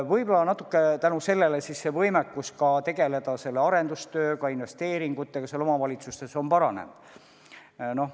Võib-olla tänu sellele on võimekus tegeleda arendustööga, investeeringutega omavalitsustes paranenud.